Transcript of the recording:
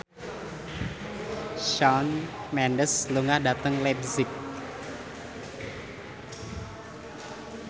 Shawn Mendes lunga dhateng leipzig